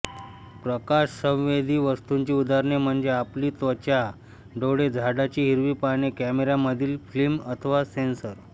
प्रकाशसंवेदी वस्तूंची उदाहरणे म्हणजे आपली त्वचा डोळे झाडाची हिरवी पाने कॅमेऱ्यामधील फिल्म अथवा सेन्सर